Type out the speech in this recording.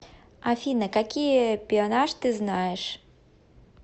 афина какие пеонаж ты знаешь